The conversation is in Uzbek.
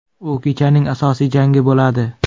U kechaning asosiy jangi bo‘ladi.